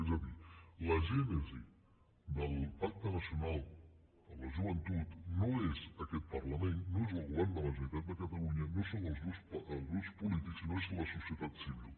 és a dir la gènesi del pacte nacional de la joventut no és aquest parlament no és el govern de la ge neralitat de catalunya no són els grups polítics sinó que és la societat civil